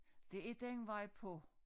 Det er den vej på